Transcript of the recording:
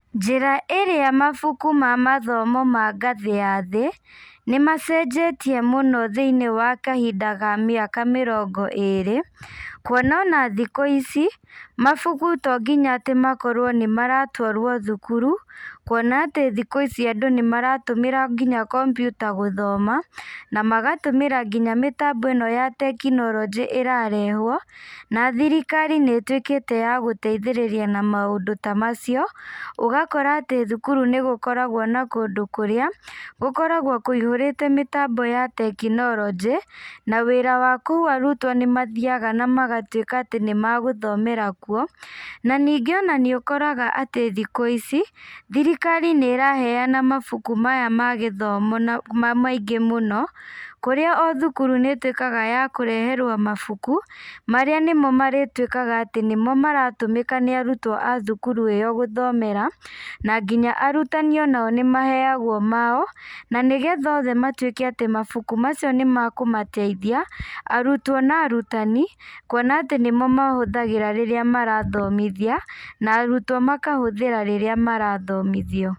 Njĩra ĩrĩa mabuku ma mathomo ma ngathĩ ya thĩ, nĩmacenjetie mũno thĩ-inĩ wa kahinda ga mĩaka mĩrongo ĩrĩ, kuona ona thikũ ici, mabuku tonginya atĩ makorwo nĩmaratwarwo thukuru, kuona atĩ thikũ ici andũ nĩmaratũmĩra nginya computer gũthoma, na magatũmĩra nginya mĩtambo ĩno ya tekinoronjĩ ĩrarehwo, na thirikari nĩtwĩkíte yagũteithĩrĩria na maũndũ ta macio, ũgakora atĩ thukuru nĩgũkoragwo na kũndũ kũrĩa, gũkoragwo kũihũrĩte mĩtambo ya tekinoronjĩ, na wĩra wa kũu arutwo nĩmathiaga magatwĩka atĩ nĩmagũthomera kuo, na ningĩ ona nĩũkoraga atĩ ona thikũ ici, thirikari nĩraheana mabuku maya ma gĩthomo na ma maingĩ mũno, kũrĩa othukuru nĩtwĩkaga ya kũreherwo mabuku, marĩa nĩmo marĩtwĩkaga atĩ nĩmo maratũmĩka nĩ arutwo a thukuru ĩyo gũthomera, na nginya arutani o nao nĩmaheagwo mao, nanĩgetha othe matwĩke atĩ mabuku macio nĩmakũmateithia, arutwo na arutani, kuona atĩ nĩmo mahũthagĩra rĩrĩa marathomithia, na arutwo makahũthĩra rĩrĩa marathomithio.